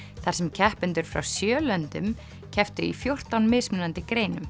þar sem keppendur frá sjö löndum kepptu í fjórtán mismunandi greinum